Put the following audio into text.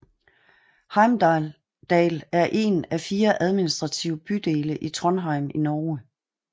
Heimdal er en af fire administrative bydele i Trondheim i Norge